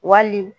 Wali